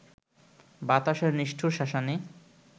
বাতাসের নিষ্ঠুর শাসানি